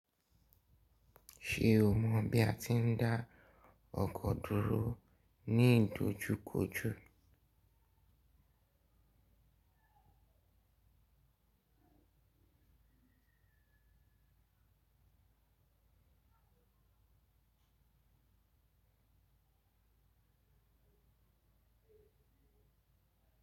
Ṣé o mọ bí a ti ń dá ọkọ̀ dúró ní ìdojúkòjò?